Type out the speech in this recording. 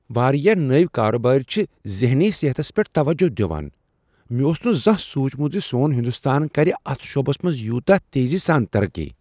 واریاہ نٔوۍ کاربار چھِ ذہنی صحتس پیٹھ توجہ دوان۔ مےٚ اوس نہٕ زانہہ سوچمت زِ سون ہندستان کرِ اتھ شعبس منز یوتاہ تیزی سان ترقی۔